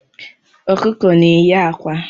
Ọkụkọ na-eyi akwa